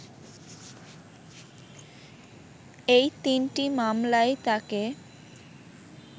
এই তিনটি মামলায় তাঁকে